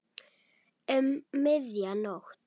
Um miðja nótt.